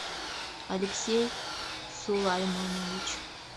алексей сулаймонович